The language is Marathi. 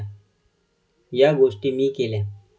या गोष्टी मी केल्या.